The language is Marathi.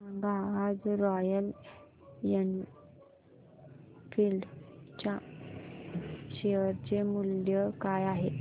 सांगा आज रॉयल एनफील्ड च्या शेअर चे मूल्य काय आहे